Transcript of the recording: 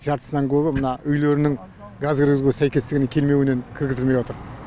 жартысынан көбі мына үйлерінің газ кіргізуге сәйкестігінің келмеуінен кіргізілмей отыр